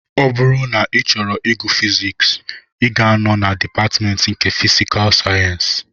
Ọ bụrụ na ị chọrọ ịgụ fiziks, ị ga-anọ na dịpatmentị nke fisikul sayensị